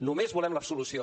només volem l’absolució